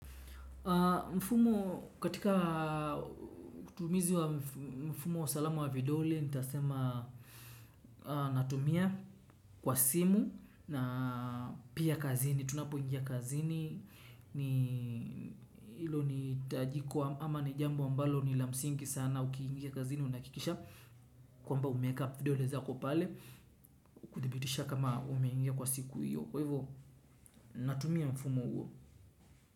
Mfumo katika utumizi wa mfumo wa salamu wa vidole nitasema natumia kwa simu na pia kazini. Tunapo ingia kazini ni ilo ni tajiko ama ni jambo ambalo ni lamsingi sana ukiingia kazini unakikisha kwamba umeeka videole zako pale kutibitisha kama umeingia kwa siku iyo. Kwa hivyo natumia mfumo uo.